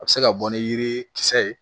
A bɛ se ka bɔ ni yiri kisɛ ye